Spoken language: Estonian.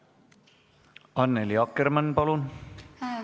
Annely Akkermann, palun!